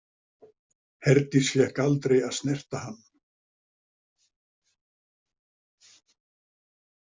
Herdís fékk aldrei að snerta hann.